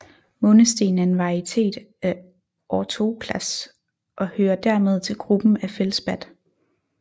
Månesten er en varietet af orthoklas og hører dermed til gruppen af feldspat